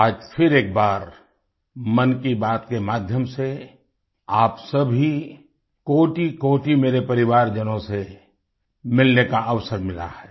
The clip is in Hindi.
आज फिर एक बार मन की बात के माध्यम से आप सभी कोटिकोटि मेरे परिवारजनों से मिलने का अवसर मिला है